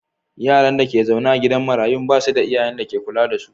Yaran da ke zaune a gidan marayun ba su da iyayen da ze kula da su.